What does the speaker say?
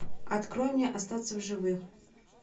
открой мне остаться в живых